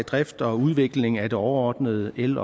drift og udvikling af det overordnede el